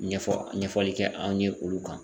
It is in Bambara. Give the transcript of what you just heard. Ɲɛfɔ ɲɛfɔli kɛ anw ye olu kan.